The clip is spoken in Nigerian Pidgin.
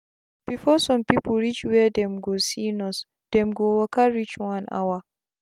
before sum pipu reach were dem go see nurse dem go waka reach one hour